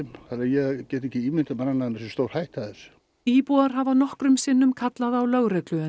ég get ekki ímyndað mér annað en sé stórhætta af þessu íbúar hafa nokkrum sinnum kallað á lögreglu en